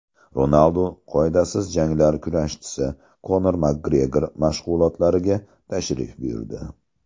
Ronaldu qoidasiz janglar kurashchisi Konor Makgregor mashg‘ulotlariga tashrif buyurdi .